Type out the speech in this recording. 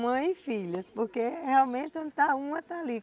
Mãe e Filhas, porque realmente onde está uma, está ali.